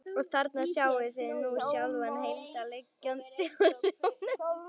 Og þarna sjáið þið nú sjálfan Heimdall liggjandi á sjónum.